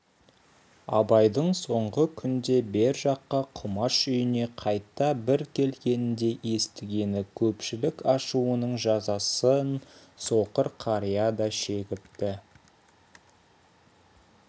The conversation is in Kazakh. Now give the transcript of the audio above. абайдың соңғы күнде бер жаққа құмаш үйіне қайта бір келгенде естігені көпшілік ашуының жазасын соқыр қария да шегіпті